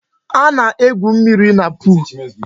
A na-egwu mmírí na pol